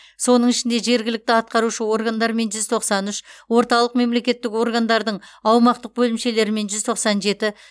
соның ішінде жергілікті атқарушы органдармен жүз тоқсан үш орталық мемлекеттік органдардың аумақтық бөлімшелерімен жүз тоқсан жеті